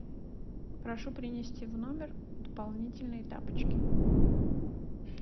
прошу принести в номер дополнительные тапочки